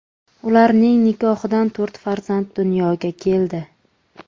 Ularning nikohidan to‘rt farzand dunyoga keldi.